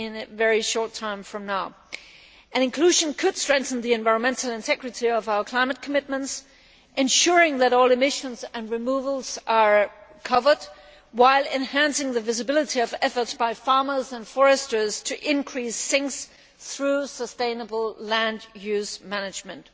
in a very short time from now. Inclusion could strengthen the environmental integrity of our climate commitments, ensuring that all emissions and removals are covered, while enhancing the visibility of efforts by farmers and foresters to increase sinks through sustainable land use management.